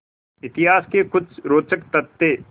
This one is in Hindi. इतिहास के कुछ रोचक तथ्य